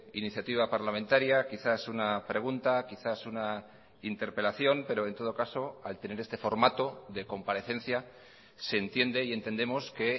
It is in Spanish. iniciativa parlamentaria quizás una pregunta quizás una interpelación pero en todo caso al tener este formato de comparecencia se entiende y entendemos que